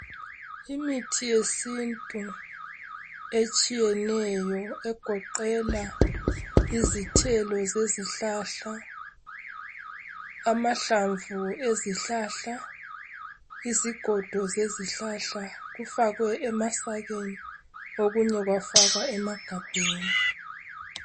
Imithi yesintu etshiyeneyo, egoqela izithelo zezihlala, amahlamvu eziihlahla, lezigodo zezihlahla, ifakwe emasakeni. Okunye kwafakwa emagabheni.